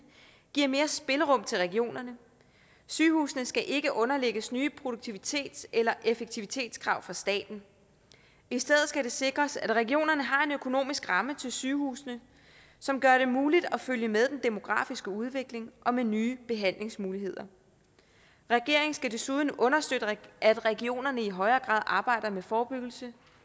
giver mere spillerum til regionerne sygehusene skal ikke underlægges nye produktivitets eller effektivitetskrav fra staten i stedet skal det sikres at regionerne har en økonomisk ramme til sygehusene som gør det muligt at følge med den demografiske udvikling og nye behandlingsmuligheder regeringen skal desuden understøtte at regionerne i højere grad arbejder med forebyggelse